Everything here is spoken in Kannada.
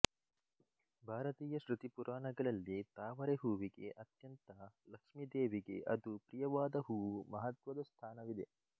ಭಾರತೀಯ ಶೃತಿ ಪುರಾಣಗಳಲ್ಲಿ ತಾವರೆ ಹೂವಿಗೆ ಅತ್ಯಂತ ಲಕ್ಷೀದೇವಿಗೆ ಅದು ಪ್ರಿಯವಾದ ಹೂವು ಮಹತ್ವದ ಸ್ಥಾನವಿದೆ